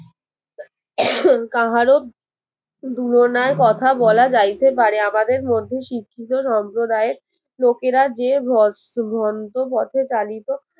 কাহারো তুলনায় কথা বলা যাইতে পারে আমাদের মধ্যে শিক্ষিত সম্প্রদায়ের লোকেরা যে ভস্ম ভন্ড পথে চালিত